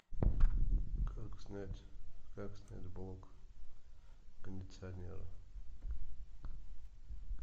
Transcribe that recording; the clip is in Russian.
как снять блок кондиционера